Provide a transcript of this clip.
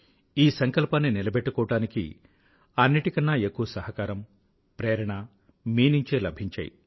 ఈ సంకల్పాన్ని నిలబెట్టుకోవడానికి అన్నింటికన్నా ఎక్కువ సహకారం ప్రేరణ మీ నుంచే లభించాయి